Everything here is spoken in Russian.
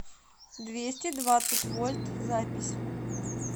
двести двадцать вольт запись